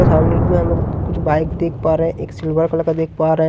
हम लोग कुछ बाइक देख पा रहे हैं एक सिल्वर कलर का देख पा रहे हैं।